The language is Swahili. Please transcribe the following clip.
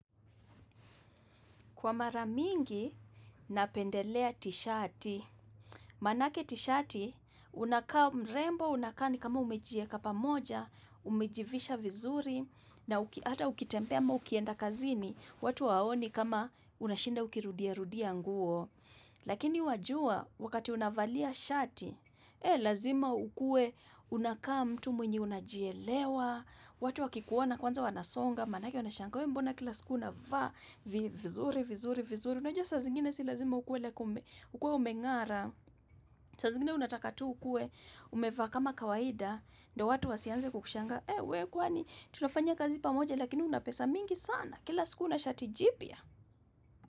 Kwa mara mingii,,,, napendelea tishati Manake tishati, unakaa, mrembo unakaa ni kama umejieka pamoja, umejivisha vizuri, na uki hata ukitembea ama ukienda kazini, watu hawaoni kama unashinda ukirudia rudia nguo. Lakini wajua, wakati unavalia shati, eee lazima ukue unakaa mtu mwenye unajielewa, watu wakikuona kwanza wanasonga, manake wanashangaa, we mbona kila siku unavaa vizuri, vizuri, vizuri? Unajua saa zingine si lazima ukue like ume kuwa umengara saa zingine unataka tu ukue umevaa kama kawaida ndio watu wasianze kukushangaa Eeh!.Wee kwani tunafanya kazi pamoja lakini una pesa mingi sana kila siku una shati jipya.